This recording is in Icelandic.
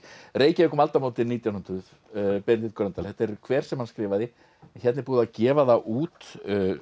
Reykjavík um aldamótin nítján hundruð Benedikt Gröndal þetta er kver sem hann skrifaði hér er búið að gefa það út